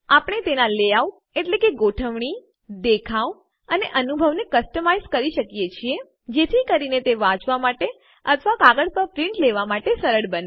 આપણે તેનાં લેઆઉટ ગોઠવણી દેખાવ અને અનુભવને કસ્ટમાઈઝ વૈવિધ્યપૂર્ણ કરી શકીએ છીએ જેથી કરીને તે વાંચવાં માટે અથવા કાગળ પર પ્રિન્ટ છાપ લેવા માટે સરળ બને